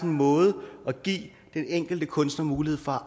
måde at give den enkelte kunstner mulighed for